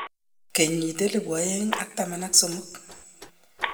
Kenyit 2013